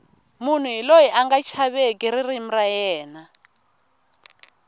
munhu hi loyi anga chaveki ririmi ra yena